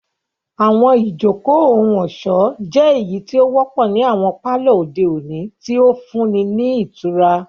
Àwọn ijoko ohun-ọṣọ jẹ eyiti o wọpọ ni awọn palọ ode oni, ti o funni ni itura.